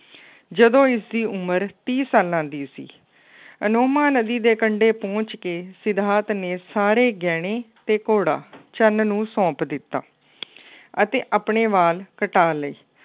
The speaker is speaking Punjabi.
ਜਦੋਂ ਇਸਦੀ ਉਮਰ ਤੀਹ ਸਾਲਾਂ ਦੀ ਸੀ। ਅਨੋਮਾ ਨਦੀ ਦੇ ਕੰਢੇ ਪਹੁੰਚ ਕੇ ਸਿਧਾਰਥ ਨੇ ਸਾਰੇ ਗਹਿਣੇ ਅਤੇ ਘੋੜਾ ਚੰਨ ਨੂੰ ਸੌਂਪ ਦਿੱਤਾ ਅਤੇ ਆਪਣੇ ਵਾਲ ਕਟਾ ਲਏ।